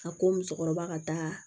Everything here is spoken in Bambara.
A ko musokɔrɔba ka taa